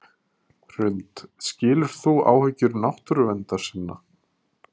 Hrund: Skilur þú áhyggjur náttúruverndarsinna?